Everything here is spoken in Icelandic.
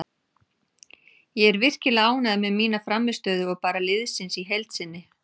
Ég er virkilega ánægður með mína frammistöðu og bara liðsins í heild sinni.